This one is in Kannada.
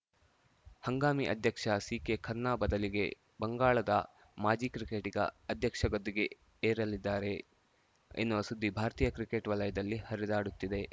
ಹಂಗಾಮಿ ಅಧ್ಯಕ್ಷ ಸಿಕೆಖನ್ನಾ ಬದಲಿಗೆ ಬಂಗಳಾದ ಮಾಜಿ ಕ್ರಿಕೆಟಿಗ ಅಧ್ಯಕ್ಷ ಗದ್ದುಗೆ ಏರಲಿದ್ದಾರೆ ಎನ್ನುವ ಸುದ್ದಿ ಭಾರತೀಯ ಕ್ರಿಕೆಟ್‌ ವಲಯದಲ್ಲಿ ಹರಿದಾಡುತ್ತಿದೆ